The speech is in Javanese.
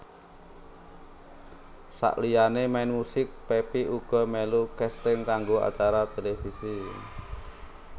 Saliyané main musik Pepi uga melu casting kanggo acara televisi